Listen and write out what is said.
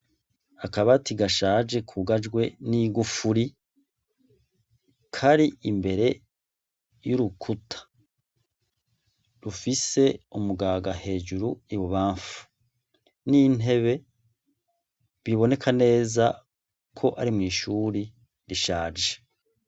Akabati gashaje kugajwe n' igufuri, kari imbere y' urukuta rufise umugaga hejuru ibubamfu n' intebe biboneka neza ko ari mwishuri rishaje.